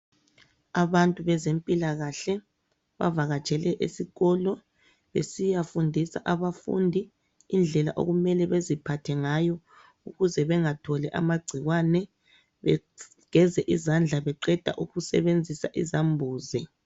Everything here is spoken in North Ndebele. Abantu bezempilakahle bavakatshele esikolo besiyafundisa abafundi indlela okumele beziphathe ngayo ukuze bengatholi amagcikwane, begeze izandla beqeda ukusebenzisa izambuzi.